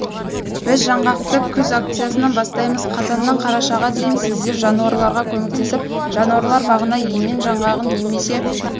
біз жаңғақты күз акциясын бастаймыз қазаннан қарашаға дейін сіздер жануарларға көмектесіп жануарлар бағына емен жаңғағын немесе